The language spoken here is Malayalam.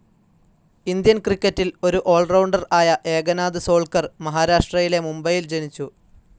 ഇന്ത്യൻ ക്രിക്കറ്റിൽ ഒരു ആൽ റൌണ്ടർ ആയ ഏകനാഥ് സോൾക്കർ മഹാരാഷ്ട്രയിലെ മുംബയിൽ ജനിച്ചു.